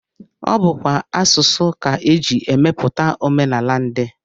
Ọ bụkwa asụsụ ka e ji emepụta omenala ndị